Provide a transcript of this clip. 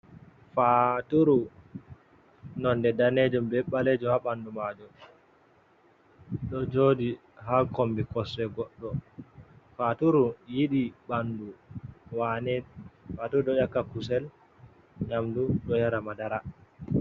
Fa'turu nonde danejum be ɓalejum ha ɓandu majum ɗo joɗi ha kombi kosɗe goɗɗo. Faturu yiɗi ɓandu wane, faturu ɗo 'yakka kusel, nyamdu ɗo yara madara.